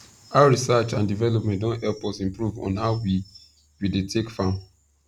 how research and development don help us improve on how we we dey take farm